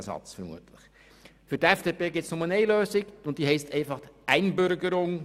Für die FDP gibt es nur eine Lösung, und diese heisst einfach Einbürgerung;